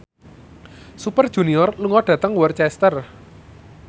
Super Junior lunga dhateng Worcester